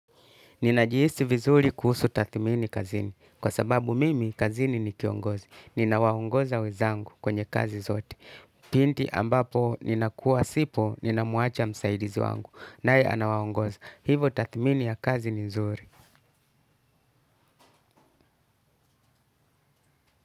Ninajihisi vizuri kuhusu takmini kazini. Kwa sababu mimi kazini ni kiongozi. Ninawaongoza wezangu kwenye kazi zote. Pindi ambapo ninakua sipo ninamuacha msaidizi wangu. Nae anawaongoza. Hivo takmini ya kazi ni nzuri.